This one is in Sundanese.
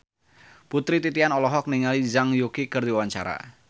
Putri Titian olohok ningali Zhang Yuqi keur diwawancara